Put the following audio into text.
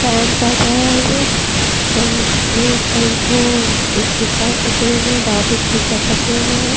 Band बाजा है ये अ इसमें कई ठो स्पीकर लगे हुए हैं लाउडस्पीकर लगे हुए है।